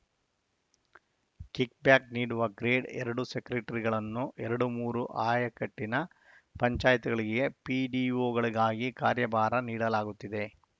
kick back ನೀಡುವ grade ಎರಡು ಸೆಕ್ರೆಟರಿಗಳನ್ನು ಎರಡು ಮೂರು ಆಯಕಟ್ಟಿನ ಪಂಚಾಯ್ತಿಗಳಿಗೆ ಪಿಡಿಒಗಳಿಗಾಗಿ ಕಾರ್ಯಭಾರ ನೀಡಲಾಗುತ್ತಿದೆ